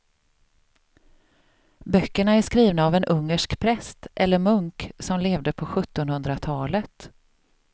Böckerna är skrivna av en ungersk präst eller munk som levde på sjuttonhundratalet.